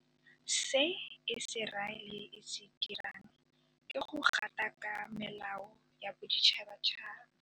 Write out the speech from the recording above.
Se Iseraele e se dirang ke go gatakaka melao ya boditšhabatšhaba.